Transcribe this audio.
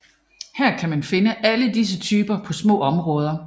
Her kan man finde alle disse typer på små områder